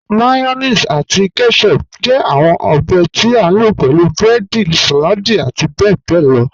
Mayonnaise ati ketchup jẹ awọn obè tí a lo pẹ̀lú breedi, saladi ati bẹbẹ lọ.